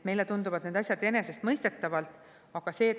Meile tunduvad need asjad enesestmõistetavad.